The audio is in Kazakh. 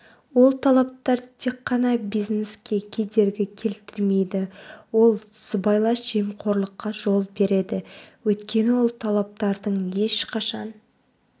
ол талаптар тек қана бизнеске кедергі келтірмейді ол сыбайлас жемқорлыққа жол береді өйткені ол талаптардың ешқашан